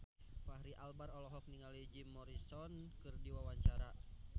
Fachri Albar olohok ningali Jim Morrison keur diwawancara